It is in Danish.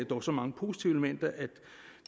dog så mange positive elementer at